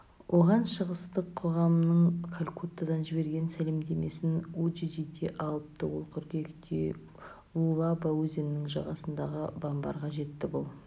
оған шығыстық қоғамның калькуттадан жіберген сәлемдемесін уджиджиде алыпты ол қыркүйекте луалаба өзенінің жағасындағы бамбарға жетті бұл